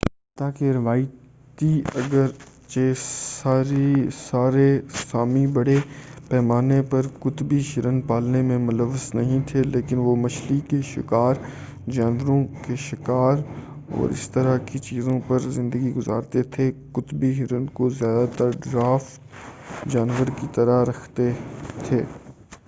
حتّیٰ کہ روایتی اگر چہ سارے سامی بڑے پیمانے پر قطبی ہرن پالنے میں ملوث نہیں تھے لیکن وہ مچھلی کے شکار جانوروں کے شکار اور اسی طرح کی چیزوں پر زندگی گزارتے تھے قطبی ہرن کو زیادہ تر ڈرافٹ جانور کی طرح رکھتے تھے